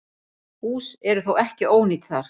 Hús eru þó ekki ónýt þar.